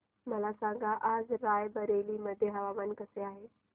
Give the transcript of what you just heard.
मला सांगा आज राय बरेली मध्ये हवामान कसे आहे